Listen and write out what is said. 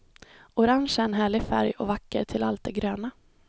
Orange är en härlig färg och vacker till allt det gröna.